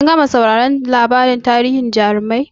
Kin gama sauraron labarin tarihin jarumai?